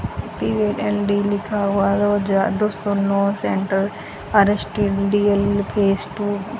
P and D लिखा हुआ centre phase two --